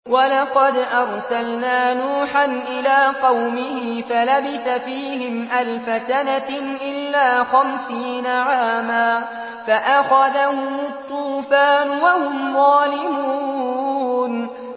وَلَقَدْ أَرْسَلْنَا نُوحًا إِلَىٰ قَوْمِهِ فَلَبِثَ فِيهِمْ أَلْفَ سَنَةٍ إِلَّا خَمْسِينَ عَامًا فَأَخَذَهُمُ الطُّوفَانُ وَهُمْ ظَالِمُونَ